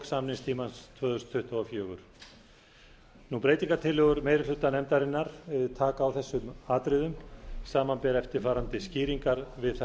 samningstímans tvö þúsund tuttugu og fjórar breytingartillögur meiri hluta nefndarinnar taka á þessum atriðum samanber eftirfarandi skýringar við